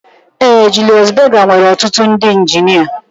Ee Julius Berger nwere ọtụtụ ndị injinia